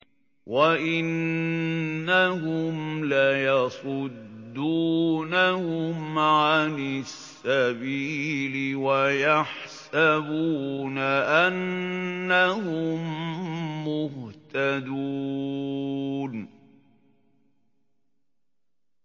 وَإِنَّهُمْ لَيَصُدُّونَهُمْ عَنِ السَّبِيلِ وَيَحْسَبُونَ أَنَّهُم مُّهْتَدُونَ